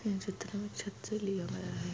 चित्र छत से लिया गया है।